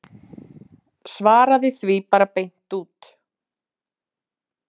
Svaraði því bara beint út.